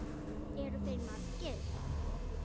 Eru þeir margir?